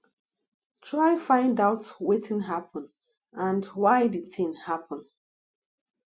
try find out wetin happen and why di thing happen